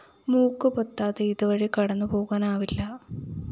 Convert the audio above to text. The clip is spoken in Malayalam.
മൂക്ക് പൊത്താതെ ഇതുവഴി കടന്നുപോകാനാവില്ല